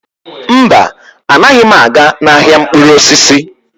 Mba, anaghị m aga n'ahịa mkpụrụ osisi.